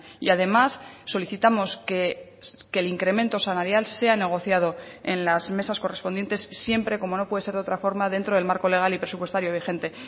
y además solicitamos que el incremento salarial sea negociado en las mesas correspondientes siempre como no puede ser de otra forma dentro del marco legal y presupuestario vigente